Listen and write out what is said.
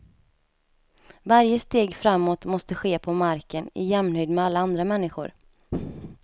Varje steg framåt måste ske på marken, i jämnhöjd med alla andra människor.